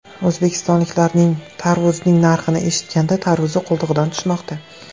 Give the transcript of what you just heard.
O‘zbekistonliklarning tarvuzning narxini eshitganda tarvuzi qo‘ltig‘idan tushmoqda.